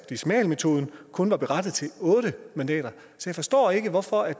decimalmetoden kun var berettiget til otte mandater jeg forstår ikke hvorfor